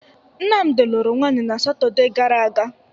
Nnamdị lụrụ nwaanyị na satọde gara aga.